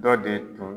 Dɔ de tun